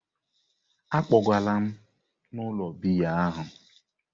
Akpọgalam m n'ụlọ biya ahụ!